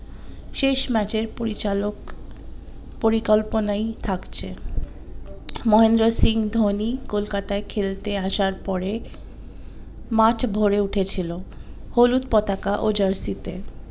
শেষ ম্যাচের পরিচালক পরিকল্পনাই থাকছে মহেন্দ্রসিং ধোনি কলকাতায় খেলতে আসার পরে মাঠ ভোরে উঠেছিল হলুদ পতাকা ও jersey তে